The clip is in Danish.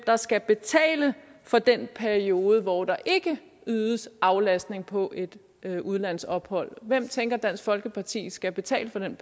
skal betale for den periode hvor der ikke ydes aflastning på et udlandsophold hvem tænker dansk folkeparti skal betale for den